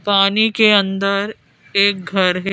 पानी के अंदर एक घर है।